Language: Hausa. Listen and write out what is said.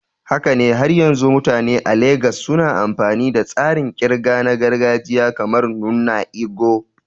Haka ne, har yanzu mutane a Legas suna amfani da tsarin ƙirga na gargajiya kamar "nnu ego"?